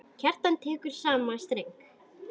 Kjartan tekur í sama streng.